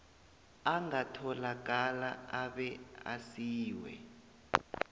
angatholakala abe asiwe